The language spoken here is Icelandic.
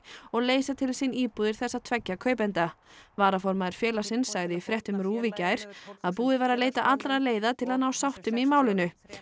og leysa til sín íbúðir þessa tveggja kaupenda varaformaður félagsins sagði í fréttum RÚV í gær að búið væri að leita allra leiða til að ná sáttum í málinu